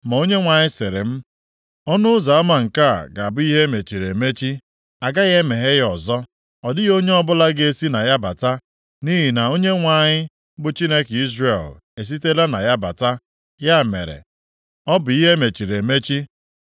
Ma Onyenwe anyị sịrị m, “Ọnụ ụzọ ama nke a ga-abụ ihe e mechiri emechi. A gaghị emeghe ya ọzọ, ọ dịghị onye ọbụla ga-esi na ya bata. Nʼihi na Onyenwe anyị, bụ Chineke Izrel esitela na ya bata. Ya mere, ọ bụ ihe emechiri emechi.